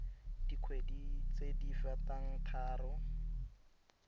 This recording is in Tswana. dikgwedi tse di fetang tharo